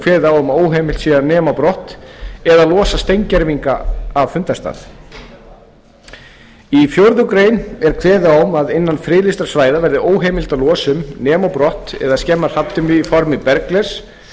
kveðið á um að óheimilt sé að nema brott eða losa steingervinga af fundarstað í fjórða grein er kveðið á um að innan friðlýstra svæða verði óheimilt að losa um nema á brott eða skemma hrafntinnu í formi bergglers og